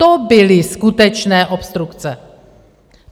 To byly skutečné obstrukce.